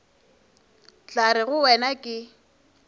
tla re go wena ke